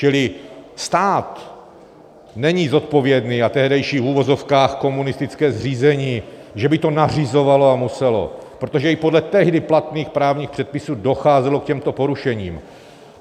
Čili stát není zodpovědný a tehdejší v uvozovkách komunistické zřízení, že by to nařizovalo a muselo, protože i podle tehdy platných právních předpisů docházelo k těmto porušením.